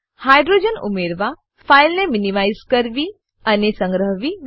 hydrogens hydrogens ઉમેરવા ફાઈલને minimize કરવી અને સંગ્રહવી